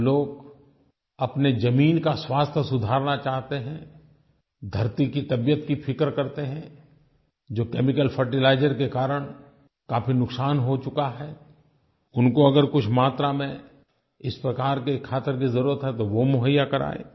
जो लोग अपनी ज़मीन का स्वास्थ्य सुधारना चाहते हैं धरती की तबीयत की फ़िक्र करते हैं जो केमिकल फर्टिलाइजर के कारण काफ़ी नुकसान हो चुका है उनको अगर कुछ मात्रा में इस प्रकार की खाद की ज़रूरत है तो वो मुहैया कराएँ